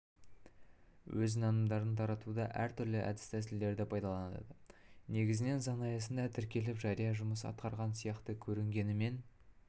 өз нанымдарын таратуда әртүрлі әдіс-тәсілдерді пайдаланады негізінен заң аясында тіркеліп жария жұмыс атқарған сияқты көрінгенімен